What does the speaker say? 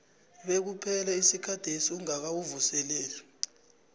bekuphele isikhathesi ungakawuvuseleli